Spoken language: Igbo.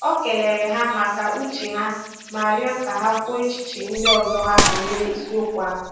O kelere ha maka uche ha ma rịọ ka ha kwuo echiche ndị ọzọ ha banyere isiokwu ahụ